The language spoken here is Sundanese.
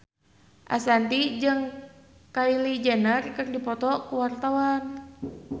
Ashanti jeung Kylie Jenner keur dipoto ku wartawan